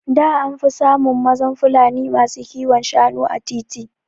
Da anfi samun mazan Fulani masu kiwon Shanu a titi